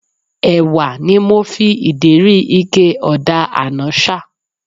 Ẹ̀wà ni mo fi ìdérí ike ọ̀dà àná ṣà